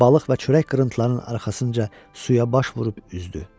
Balıq və çörək qırıntılarının arxasınca suya baş vurub üzdü.